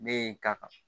Ne ye n ta kan